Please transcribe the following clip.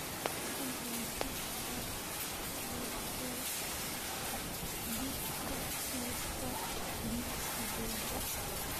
fadlan ka saar tricep dip ka liiska jimicsigayga